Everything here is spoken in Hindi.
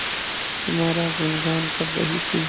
तुम्हारा गुनगान कर रही थी